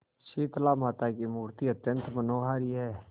शीतलामाता की मूर्ति अत्यंत मनोहारी है